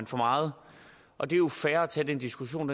for meget og det er jo fair at tage den diskussion